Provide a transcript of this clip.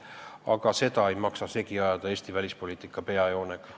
Aga seda ei maksa segi ajada Eesti välispoliitika peajoonega.